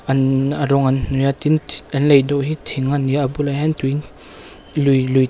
an a rawng an hnawih a tin an lei dawh hi thing ani a a bulah hian tui lui lui te--